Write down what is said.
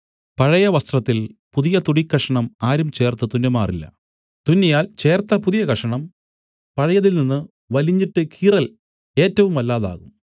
പഴയ വസ്ത്രത്തിൽ പുതിയതുണിക്കഷണം ആരും ചേർത്ത് തുന്നുമാറില്ല തുന്നിയാൽ ചേർത്ത പുതിയ കഷണം പഴയതിൽ നിന്നു വലിഞ്ഞിട്ട് കീറൽ ഏറ്റവും വല്ലാതെ ആകും